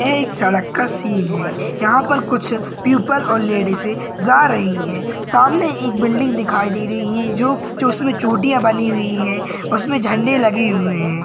ए एक सड़क का सीन है। यहाँ पर कुछ प्युपल और लेडीजे जा रही हैं। सामने एक बिल्डिंग दिखाई दे रही हैं जो जो उसमे चोटिया बनी हुईं हैं। औ उसमें झंडे लगे हुए हैं।